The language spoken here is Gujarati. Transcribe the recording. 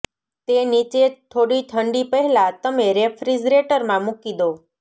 તે નીચે થોડી ઠંડી પહેલાં તમે રેફ્રિજરેટરમાં મૂકી દો